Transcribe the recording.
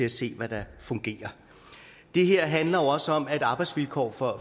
at se hvad der fungerer det her handler også om at arbejdsvilkår for